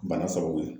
Bana sababu ye